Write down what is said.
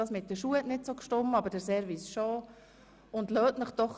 Das mit den Schuhen hat zwar nicht ganz gestimmt, der Service dafür schon.